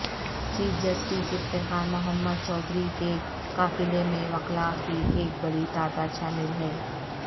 chief justice Iftikhar Muhammad Chaudhry کے قافلے میں وکلاء کی ایک بڑی تعداد شامل ہے